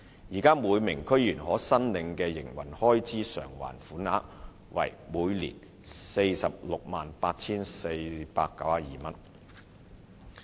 現時每名區議員可申領的營運開支償還款額為每年 468,492 元。